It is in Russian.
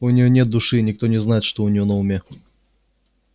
у неё нет души и никто не знает что у неё на уме